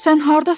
Sən hardasan?